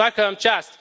Svaka Vam čast.